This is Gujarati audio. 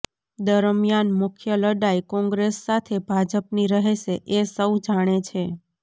દરમિયાન મુખ્ય લડાઇ કોંગ્રેસ સાથે ભાજપની રહેશે એ સહુ જાણે છે